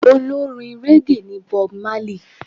Olórin régè ní Bob Marley.